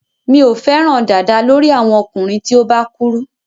Mi ò fẹ́ràn dàda lórí àwọn ọkùnrin tí ó bá kúrú.